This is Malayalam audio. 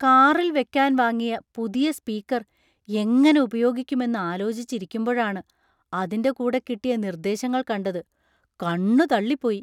കാറിൽ വെക്കാൻ വാങ്ങിയ പുതിയ സ്പീക്കർ എങ്ങനെ ഉപയോഗിക്കും എന്ന് ആലോചിച്ചിരിക്കുമ്പോഴാണ് അതിൻ്റെ കൂടെ കിട്ടിയ നിർദേശങ്ങൾ കണ്ടത്; കണ്ണു തള്ളിപ്പോയി.